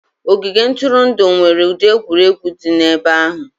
Ogige ntụrụndụ nwere ụdị egwuregwu dị n'ebe ahụ.